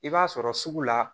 I b'a sɔrɔ sugu la